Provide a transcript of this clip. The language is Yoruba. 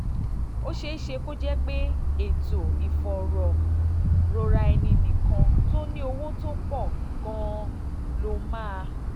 ó ṣeé ṣe kó jẹ́ pé ètò ìfọ̀rọ̀rora-ẹni-nìkan tó ní owó tó pọ̀ gan-an tó pọ̀ gan-an ló máa